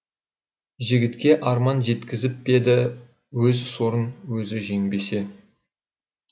жігітке арман жеткізіп пе еді өз сорын өзі жеңбесе